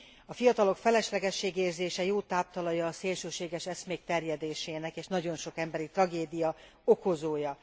A fiatalok feleslegességérzése jó táptalaja a szélsőséges eszmék terjedésének, és nagyon sok emberi tragédia okozója.